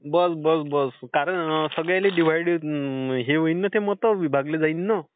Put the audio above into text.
बघ, बघ, बघ. कारण की सगळ्यांनी दिव्हाइड... हे होईन ना ते मत, विभागले जाईन.